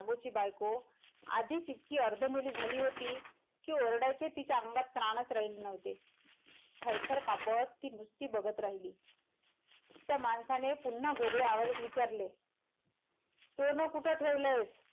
आधीच इतकी अर्ध मेली झाली होती कि ओरडायची तिच्या अंगात त्राणच राहिले नव्हते थरथर कापत ती नुसतं बगत राहिली त्या माणसाने पुनः घोगऱ्या आवाजात विचारले सोन कुठं ठेवलंय?